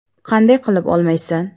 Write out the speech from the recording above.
Qanday qilib olmaysan?